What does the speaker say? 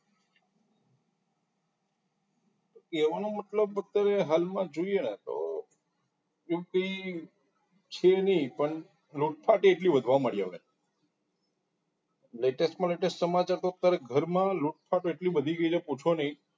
કહેવાનો મતલબ અત્યારે હાલમાં જોઈએ તો UP છે નહી પણ નહીં પણ લૂંટફાટ એટલી વધવા લાગી હવે latest માં latest સમાચાર તો અત્યારે ઘરમાં લૂંટફાટ એટલી વધી ગઈ છે કે પૂછો‌ નહિ